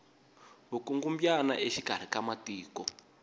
vukungumbyana exikari ka matiko